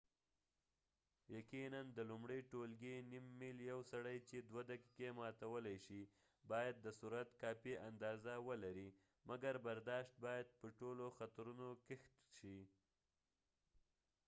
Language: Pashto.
يقينا د لومړي ټولګي نیم میل یو سړی چې دوه دقیقې ماتولی شي باید د سرعت کافي اندازه ولرئ مګر برداشت باید په ټولو خطرونو کښت شي